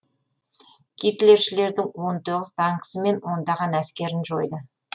гитлершілердің он тоғыз танкісі мен ондаған әскерін жойды